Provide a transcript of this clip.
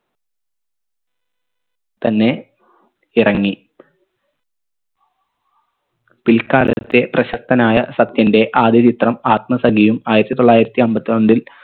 തന്നെ ഇറങ്ങി പിൽക്കാലത്തെ പ്രശസ്തനായ സത്യന്റെ ആദ്യ ചിത്രം ആത്മസഖിയും ആയിരത്തി തൊള്ളായിരത്തി അമ്പത്രണ്ടിൽ